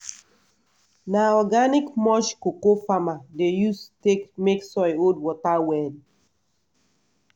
na organic mulch cocoa farmer dey use take make soil hold water well.